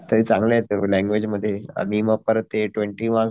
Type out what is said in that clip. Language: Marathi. तरी चांगलेत लँग्वेज मध्ये हे मार्क्स परत ते ट्वेन्टी मार्क्स